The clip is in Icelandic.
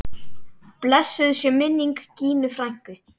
Blessuð sé minning Gínu frænku.